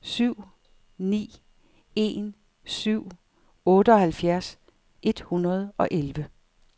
syv ni en syv otteoghalvfjerds et hundrede og elleve